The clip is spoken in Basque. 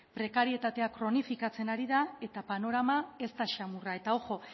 prekarietatea kronifikatzen ari da eta panorama ez da samurra eta ojo